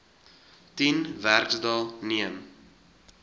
tien werksdae neem